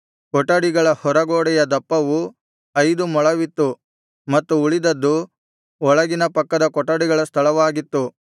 ಕೊಠಡಿಗಳ ಹೊರ ಗೋಡೆಯ ದಪ್ಪವು ಐದು ಮೊಳವಿತ್ತು ಮತ್ತು ಉಳಿದದ್ದು ಒಳಗಿನ ಪಕ್ಕದ ಕೊಠಡಿಗಳ ಸ್ಥಳವಾಗಿತ್ತು